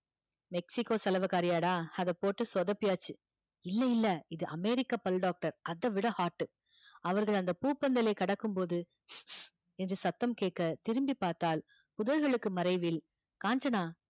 Mexico சலவைக்காரியாடா, அதை போட்டு சொதப்பியாச்சு இல்லை இல்லை இது அமெரிக்கா பல் doctor அதைவிட hot அவர்கள் அந்த பூப்பந்தலை கடக்கும்போது என்று சத்தம் கேட்க திரும்பி பார்த்தால் புதர்களுக்கு மறைவில் காஞ்சனா